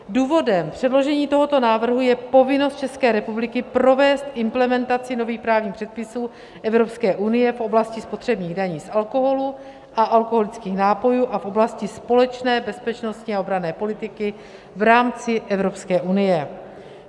Důvodem předložení tohoto návrhu je povinnost České republiky provést implementaci nových právních předpisů Evropské unie v oblasti spotřebních daní z alkoholu a alkoholických nápojů a v oblasti společné bezpečnostní a obranné politiky v rámci Evropské unie.